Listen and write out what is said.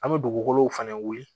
An bɛ dugukolo fɛnɛ wuli